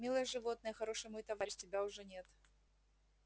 милое животное хороший мой товарищ тебя уже нет